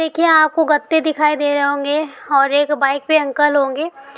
देखिये आपको गत्ते दिखाई दे रहे होंगे और एक बाईक पे अंकल होंगे।